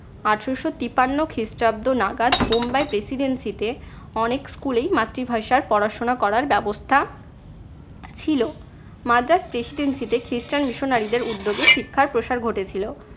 আঠারশো তিপ্পান্ন নাগাদ বোম্বাই presidency তে অনেক school এই মাতৃভাষায় পড়াশোনা করার ব্যবস্থা ছিল। মাদ্রাজ presidency তে খ্রিস্টান missionary দের উদ্যোগে শিক্ষার প্রসার ঘটেছিল।